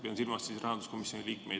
Pean silmas rahanduskomisjoni liikmeid.